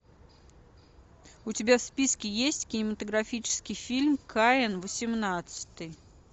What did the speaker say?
у тебя в списке есть кинематографический фильм каин восемнадцатый